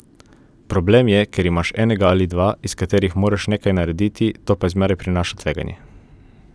Problem je, ker imaš enega ali dva, iz katerih moraš nekaj narediti, to pa zmeraj prinaša tveganje.